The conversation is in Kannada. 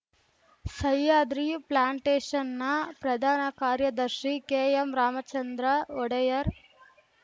ಸಹ್ಯಾದ್ರಿ ಪ್ಲಾಂಟೇಶನ್‌ನ ಪ್ರಧಾನ ಕಾರ್ಯದರ್ಶಿ ಕೆಎಂ ರಾಮಚಂದ್ರ ಒಡೆಯರ್‌